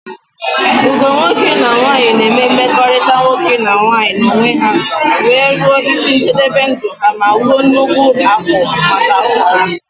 Ugo nwoke na nwanyi na eme mmekọrịta nwoke na nwanyi na onwe ha wee ruo isi njebebe ndụ ha ma wuo nnukwu akwụ́ maka ụmụ ha.